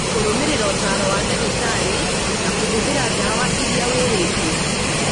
kũrũmĩrĩra ũtaaro wa ndagĩtarĩ na kũhũthĩra ndawa ĩria wĩrĩtwo